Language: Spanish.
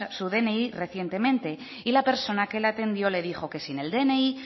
su dni recientemente y la persona que la atendió le dijo que sin el dni